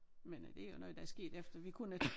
Men øh det jo noget der er sket efter vi kun er